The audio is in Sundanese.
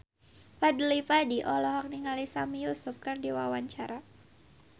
Fadly Padi olohok ningali Sami Yusuf keur diwawancara